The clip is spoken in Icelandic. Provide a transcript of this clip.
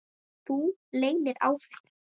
Þú leynir á þér!